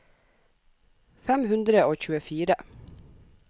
fem hundre og tjuefire